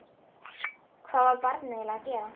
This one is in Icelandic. Hvað var barnið eiginlega að gera?